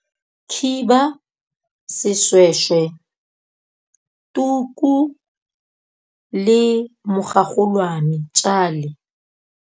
Khiba, seshweshwe, tuku le mogagolwane, tjale.